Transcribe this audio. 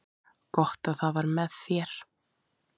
Gott að það var með þér.